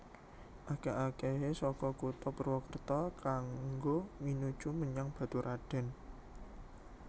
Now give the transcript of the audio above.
Akèh akèhé saka Kutha Purwokerto kanggo minuju menyang Baturadèn